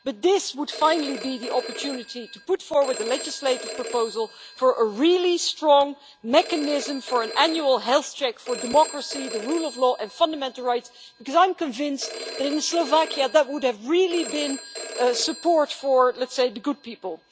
But this would finally be the opportunity to put forward a legislative proposal for a really strong mechanism for an annual health check for democracy, the rule of law and fundamental rights, because I am convinced that in Slovakia that would have really been support for the good' people.